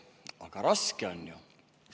Aga raske on ju!